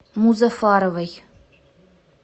музафаровой